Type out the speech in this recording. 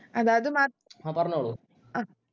അതാത് മാ അഹ്